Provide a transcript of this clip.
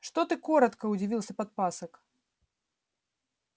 что ты коротко удивился подпасок